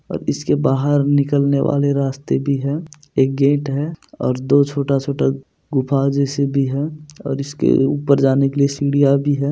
और इसके बाहर निकलने वाले रास्ते भी हैं एक गेट हैं और दो छोटा छोटा गुफा जैसी भी हैं और इसके उपर जाने के लिए सीढिया भी हैं।